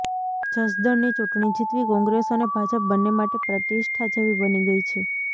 જસદણની ચૂંટણી જીતવી કોંગ્રેસ અને ભાજપ બંને માટે પ્રતિષ્ઠા જેવી બની ગઈ છે